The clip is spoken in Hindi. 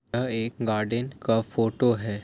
यह एक गार्डन का फोटो है।